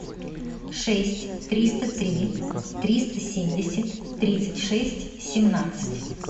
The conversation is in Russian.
шесть триста три триста семьдесят тридцать шесть семнадцать